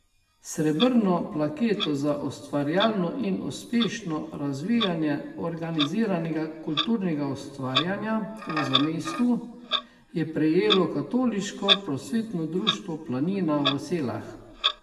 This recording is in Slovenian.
Srebrno plaketo za ustvarjalno in uspešno razvijanje organiziranega kulturnega ustvarjanja v zamejstvu je prejelo Katoliško prosvetno društvo Planina v Selah.